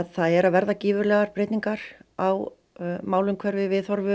það eru að verða gífurlegar breytingar á málumhverfi viðhorfi